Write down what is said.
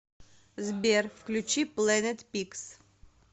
сбер включи плэнет пикс